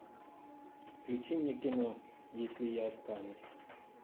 включи мне кино если я останусь